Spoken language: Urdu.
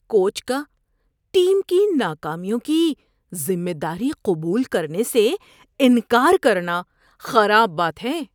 کوچ کا ٹیم کی ناکامیوں کی ذمہ داری قبول کرنے سے انکار کرنا خراب بات ہے۔